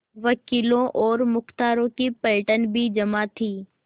वकीलों और मुख्तारों की पलटन भी जमा थी